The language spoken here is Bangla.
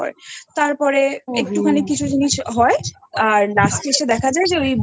তারপরে একটুখানি কিছু জিনিস হয় Last এ এসে দেখা যায় যে